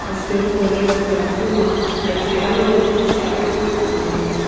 azuto hepo lau ithulu akeu no aki alu sheaqukeu ithulu ane.